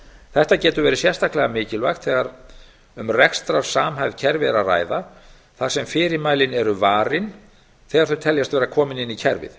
þetta getur verið sérstaklega mikilvægt þegar um rekstrarsamhæfð kerfi er að ræða þar sem fyrirmælin eru varin þegar þau teljast vera komin inn í kerfið